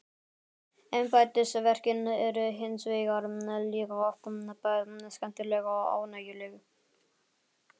Embættisverkin eru hins vegar líka oft bæði skemmtileg og ánægjuleg.